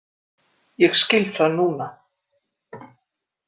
Ég skil það núna.